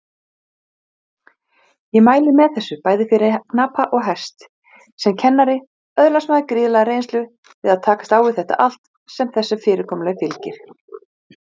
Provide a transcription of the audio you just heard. Mælir því flest eða alt með því að þessi staður sé valinn.